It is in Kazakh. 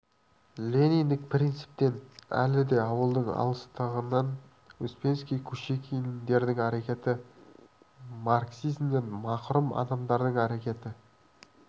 лениндік принциптен әлі де ауылдың алыстығынан успенский кушекиндердің әрекеті марксизмнен мақұрым адамдардың әрекеті